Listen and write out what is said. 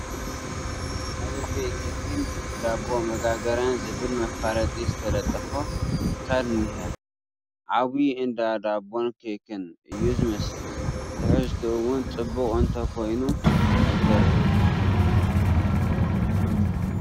ኣለቤ ኬክና ዳቦ መጋገሪያ ዝብል መፋለጢ ዝተለጠፎ ትካል እኒሀ፡፡ ዓብዪ እንዳ ዶቦን ኬክን እዩ ዝመስል፡፡ ትሕዝቱኡ ውን ፅቡቕ እንተይኮነ ኣይተርፍን፡፡